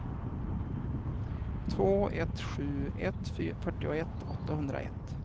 två ett sju ett fyrtioett åttahundraett